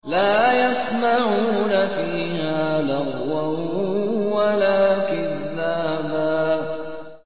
لَّا يَسْمَعُونَ فِيهَا لَغْوًا وَلَا كِذَّابًا